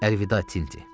Əlvida, Tinti.